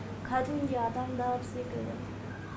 кәдімгідей адамдар секілді